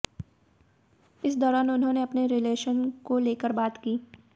इस दौरान उन्होनें अपने रिलेशन को लेकर बात की